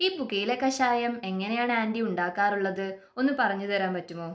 ഈ പുകയില കഷായം എങ്ങനെയാണ് ആൻറി ഉണ്ടാകാറുള്ളത് ഒന്ന് പറഞ്ഞു തരാൻ പറ്റുമോ?